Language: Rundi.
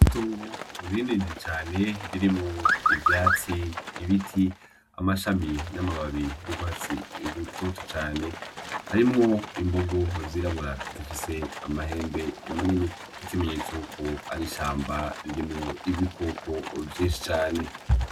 Itongo rinini cane ririmwo ivyatsi, ibiti , amashami n’amababi y’urwatsi rutoto cane harimwo imbogo zirabura zifise amahembe manini nk’ikimenyesto ko ari ishamba ririmwo ibikoko vyinshi cane.